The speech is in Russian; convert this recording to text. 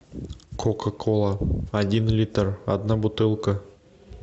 кока кола один литр одна бутылка